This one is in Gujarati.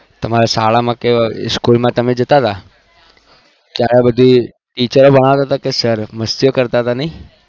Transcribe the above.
તમારે શાળા માં કે માં જતા ત્યાં teacher ભણાવતા હતા કે sir મસ્તી ઓં કરતા હતા